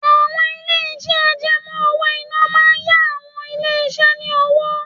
Àwọn ilé-iṣẹ́ àjẹmó owó-ìná máa ń yá àwọn ilé iṣẹ́ ni owó.